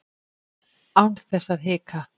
Án þess að hika.